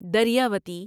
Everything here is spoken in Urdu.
درویاوتی